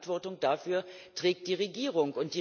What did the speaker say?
Die Verantwortung dafür trägt die Regierung.